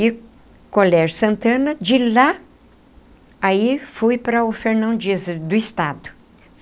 E Colégio Santana, de lá, aí fui para o Fernão Dias, do Estado.